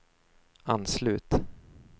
anslut